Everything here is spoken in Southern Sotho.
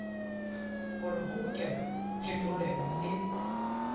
hore ho hokelwe phetolelo e